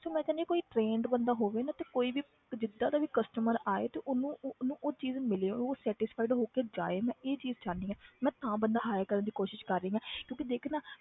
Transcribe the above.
ਤੇ ਮੈਂ ਚਾਹੁੰਦੀ ਹਾਂ ਕੋਈ trained ਬੰਦਾ ਹੋਵੇ ਨਾ ਤੇ ਕੋਈ ਵੀ ਤੇ ਜਿੱਦਾਂ ਦਾ ਵੀ customer ਆਏ ਤੇ ਉਹਨੂੰ ਉਹਨੂੰ ਉਹ ਚੀਜ਼ ਮਿਲੇ ਉਹ satisfied ਹੋ ਕੇ ਜਾਏ ਮੈਂ ਇਹ ਚੀਜ਼ ਚਾਹੁੰਦੀ ਹਾਂ ਮੈਂ ਤਾਂ ਬੰਦਾ hire ਕਰਨ ਦੀ ਕੋਸ਼ਿਸ਼ ਕਰ ਰਹੀ ਹਾਂ ਕਿਉਂਕਿ ਦੇਖ ਨਾ